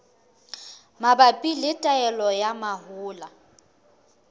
mabapi le taolo ya mahola